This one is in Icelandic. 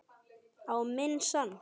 Á minn sann.!